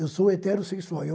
Eu sou heterossexual. Eu